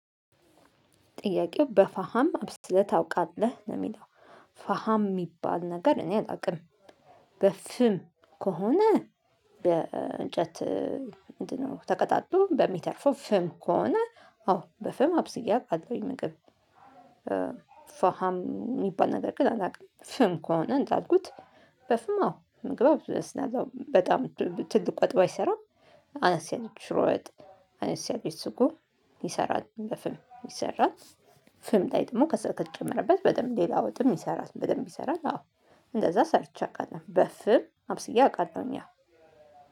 ጥያቄው በፋሃም አብስለህ ታውቃለህ ነው የሚለው? ፋሃም የሚባል ነገር እኔ አላውቅም። በፍም ከሆነ በእንጨት ምንድነው? ተቀጣጥሎ በሚተርፈው ፍም ከሆነ አዎ በፍም አብስየ አውቃለሁኝ ምግብ። ፋሃም የሚባል ነገር ግን አላውቅም ፍም ከሆነ እንዳልኩት። በፍም አዎ ምግብ አበስላለሁ በጣም ትልቅ ወጥ ባይሰራም። አነስ ያለች ሺሮ ወጥ አነስ ያለች ስጎ ይሰራል በፍም ይሰራል። ፍም ላይ ደግሞ ከሰል ከተጨመረበት በደንብ ሌላ ወጥም ይሰራል በደንብ ይሰራል። አዎ እንደዛ ሰርቼ አቃለሁ በፍም አብስዬ አውቃለሁ። ያው